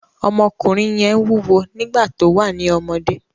Ọmọkùnrin yẹn wúwo nígbà tó wà ní ọ́mọdé